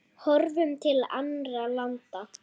Horfum til annarra landa.